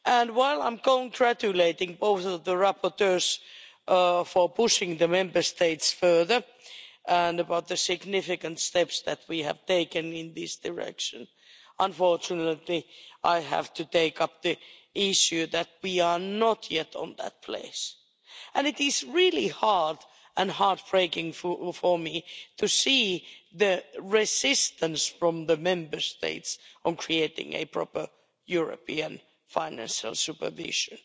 While I'm congratulating both of the rapporteurs for pushing the Member States further and about the significant steps that we have taken in this direction, unfortunately, I have to take up the issue that we are not yet in that place, and it is really hard and heart breaking for me to see the resistance from the Member States on creating a proper European financial supervision.